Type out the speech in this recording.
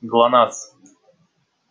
глонассс